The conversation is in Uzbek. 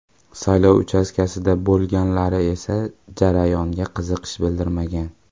Saylov uchastkasida bo‘lganlari esa jarayonga qiziqish bildirmagan.